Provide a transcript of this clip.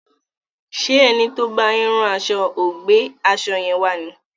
Ṣé ẹni tí ó ń bá yín rán aṣo ò gbé aṣo yẹn wá ni?